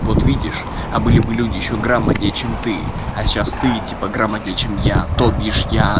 вот видишь а были бы люди ещё грамотнее чем ты а сейчас ты типа грамотнее чем я то бишь я